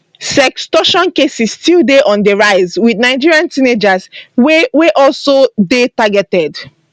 sextortion cases still dey on di rise wit nigerian teenagers wey wey also dey targeted